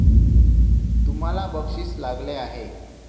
तुम्हाला बक्षीस लागले आहे.